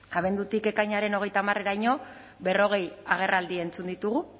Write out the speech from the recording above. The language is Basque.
abendutik ekainaren hogeita hamareraino berrogei agerraldi entzun ditugu